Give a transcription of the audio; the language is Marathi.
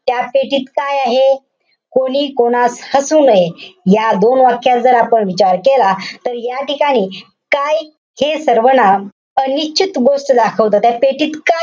त्या पेटीत काय आहे? कोणी कोणास हसू नये. या दोन वाक्यात जर आपण विचार केला. तर या ठिकाणी काय हे सर्वनाम अनिश्चित गोष्ट दाखवतं. त्या पेटीत का,